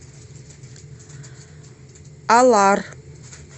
алар